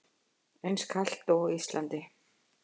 Eins kalt og á Íslandi?